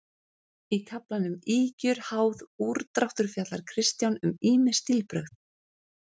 Í kaflanum Ýkjur, háð, úrdráttur fjallar Kristján um ýmis stílbrögð.